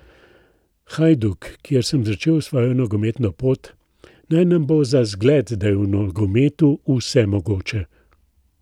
Hajduk, kjer sem začel svojo nogometno pot, naj nam bo za zgled, da je v nogometu vse mogoče.